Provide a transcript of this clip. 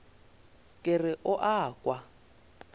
ke re o a kwa